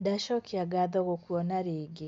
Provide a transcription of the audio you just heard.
ndacokia ngatho gũkũona rĩngĩ